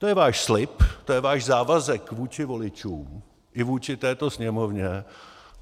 To je váš slib, to je váš závazek vůči voličům i vůči této Sněmovně.